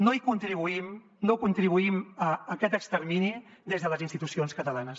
no hi contribuïm no contribuïm a aquest extermini des de les institucions catalanes